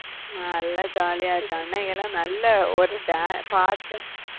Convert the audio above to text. நல்ல jolly யா இருந்த அன்னைக்கெல்லாம் நல்ல ஒரு dan~ பாட்டு